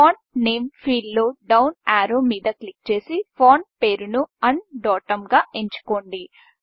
font Nameఫాంట్ name field లో down arrow మీద క్లిక్ చేసి ఫాంట్ పేరును ఉండోతుం గా ఎంచుకోండి